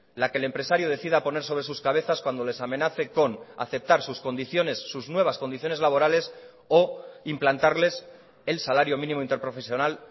la que el empresario decida poner sobre sus cabezas cuando les amenace con aceptar sus condiciones sus nuevas condiciones laborales o implantarles el salario mínimo interprofesional